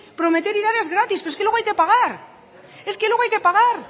prometer y dar es gratis pero es que luego hay que pagar es que luego hay que pagar